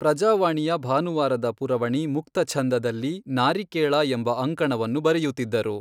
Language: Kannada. ಪ್ರಜಾವಾಣಿಯ ಭಾನುವಾರದ ಪುರವಣಿ ಮುಕ್ತಛಂದ ದಲ್ಲಿ ನಾರಿಕೇಳಾ ಎಂಬ ಅಂಕಣವನ್ನು ಬರೆಯುತ್ತಿದ್ದರು.